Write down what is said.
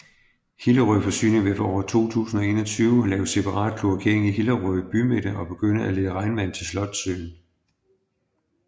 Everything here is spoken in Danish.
Hillerød Forsyning vil fra år 2021 lave separat kloakering i Hillerød bymidte og begynde at lede regnvand til Slotssøen